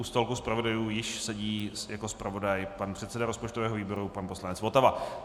U stolku zpravodajů již sedí jako zpravodaj pan předseda rozpočtového výboru, pan poslanec Votava.